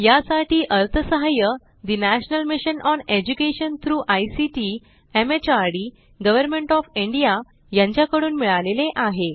यासाठी अर्थसहाय्य national mission on education through ICT MHRD government of India यांच्याकडून मिळालेले आहे